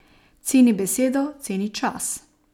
Ceni besedo, ceni čas.